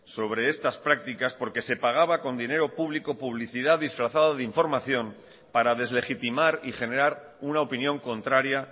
sobre estas prácticas porque se pagaba con dinero público publicidad disfrazada de información para deslegitimar y generar una opinión contraria